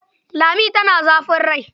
Lami tana da zafin rai.